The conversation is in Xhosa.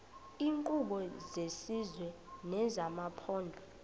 iinkqubo zesizwe nezamaphondo